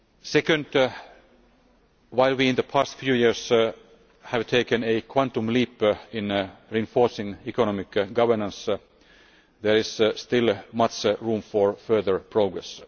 Secondly, while we in the past few years have taken a quantum leap in reinforcing economic governance, there is still much room for further progress.